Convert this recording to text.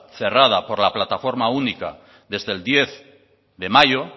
cerrada por la plataforma única desde el diez de mayo